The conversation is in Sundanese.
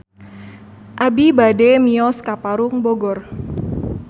Abi bade mios ka Parung Bogor